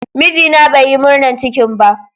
Mijina bai Yi murnan cikin ba.